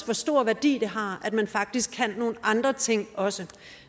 hvor stor værdi det har at man faktisk kan nogle andre ting også